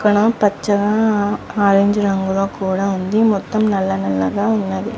ఇక్కడ పచ్చగా ఆరెంజ్ రంగు లో ఉన్నది మొత్తం నల్ల నల్ల రంగు లో ఉనది.